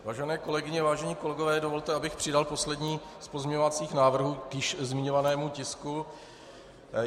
Vážené kolegyně, vážení kolegové, dovolte, abych přidal poslední z pozměňovacích návrhů k již zmiňovanému tisku.